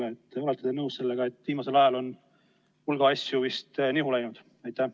olete nõus sellega, et viimasel ajal on hulk asju vist nihu läinud?